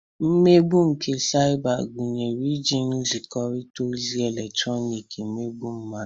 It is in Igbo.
Mmegbu nke saịba gunyere iji nzikọrịta ozi eletrọnịkị emegbu mmadụ.